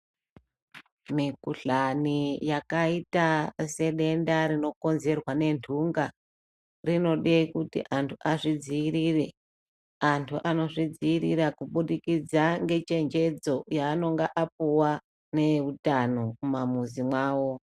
Mikuhlani yakayita sedenda rinokonzerwa nendunga, rinode kuti antu azvidziirire, antu anozvidziirira kubudikidza ngechenjedzo yaanonga apuwa neutano mumamizi mwavo.